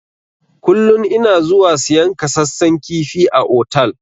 Kullun ina zuwa siyan kasassan kifi a otal.